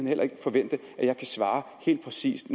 heller ikke kan forvente at jeg kan svare helt præcist